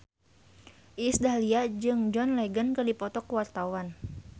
Iis Dahlia jeung John Legend keur dipoto ku wartawan